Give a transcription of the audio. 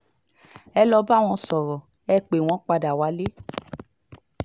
ẹ lọ́ọ́ bá wọn sọ̀rọ̀ ẹ̀ pé wọ́n padà wálé